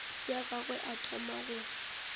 ya gagwe a thoma go